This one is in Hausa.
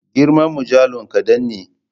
Girman mujallu kadan ne.